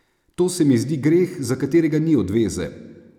To se mi zdi greh, za katerega ni odveze.